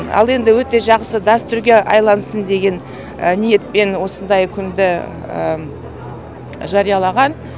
ал енді өте жақсы дәстүрге айлансын деген ниетпен осындай күнді жариялаған